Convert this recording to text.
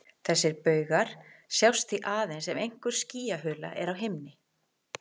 Þessir baugar sjást því aðeins ef einhver skýjahula er á himni.